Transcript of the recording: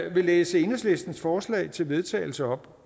at læse enhedslistens forslag til vedtagelse op